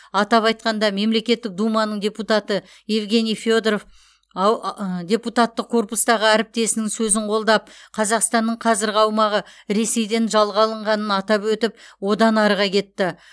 атап айтқанда мемлекеттік думаның депутаты евгений федоров ау ыыы депутаттық корпустағы әріптесінің сөзін қолдап қазақстанның қазіргі аумағы ресейден жалға алынғанын атап өтіп одан арыға кетті